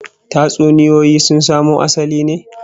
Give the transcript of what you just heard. Tatsuniyoyi sun samo asalin ne